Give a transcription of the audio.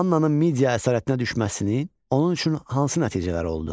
Mannanın Midya əsarətinə düşməsinin onun üçün hansı nəticələri oldu?